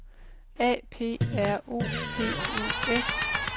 A P R O P O S